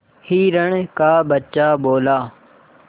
हिरण का बच्चा बोला